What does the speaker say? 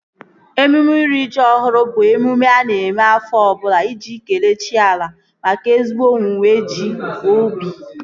Emume iri ji ọhụrụ bụ emume a na-eme afọ ọbụla iji kelee chi ala maka ezigbo owuwe ji ubi